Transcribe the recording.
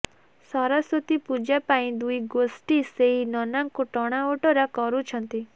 ସରସ୍ୱତୀ ପୂଜା ପାଇଁ ଦୁଇ ଗୋଷ୍ଠୀ ସେଇ ନନାଙ୍କୁ ଟଣାଓଟରା କରୁଛନ୍ତି